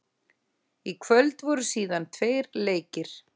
Í kvöld voru síðan tveir leikir.